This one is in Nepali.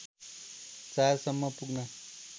४ सम्म पुग्न